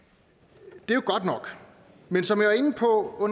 det godt nok men som jeg var inde på